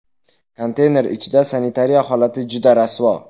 Konteyner ichida sanitariya holati juda rasvo.